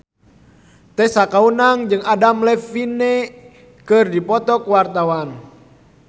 Tessa Kaunang jeung Adam Levine keur dipoto ku wartawan